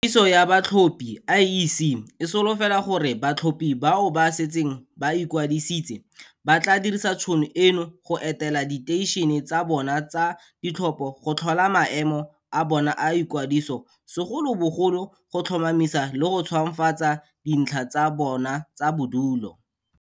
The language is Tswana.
Kwadiso ya batlhophi IEC e solofela gore batlhophi bao ba setseng ba ikwadisitse ba tla dirisa tšhono eno go etela diteišene tsa bona tsa ditlhopho go tlhola maemo a bona a ikwadiso segolobogolo go tlhomamisa le go ntšhwafatsa dintlha tsa bona tsa bodulo.